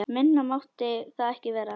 Minna mátti það ekki vera!